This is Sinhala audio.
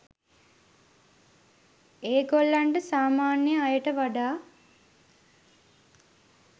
ඒගොල්ලන්ට සාමාන්‍ය අයට වඩා